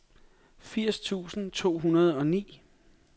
firs tusind to hundrede og ni